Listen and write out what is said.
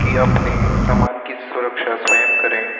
यह अपने सामान की सुरक्षा स्वयं करें।